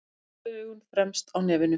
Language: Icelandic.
Sólgleraugun fremst á nefinu.